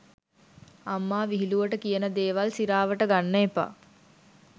අම්මා විහිලුවට කියන දේවල් සිරාවට ගන්න එපා.